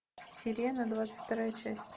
сирена двадцать вторая часть